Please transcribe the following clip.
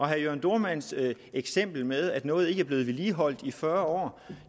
herre jørn dohrmanns eksempel med at noget ikke er blevet vedligeholdt i fyrre år